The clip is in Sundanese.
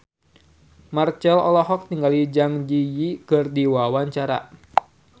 Marchell olohok ningali Zang Zi Yi keur diwawancara